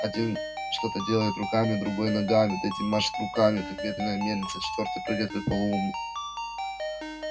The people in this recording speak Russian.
один что-то делает руками другой ногами третий машет руками как ветряная мельница четвёртый прыгает как полоумный